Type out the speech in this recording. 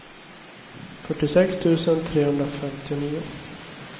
fyrtiosex tusen trehundrafemtionio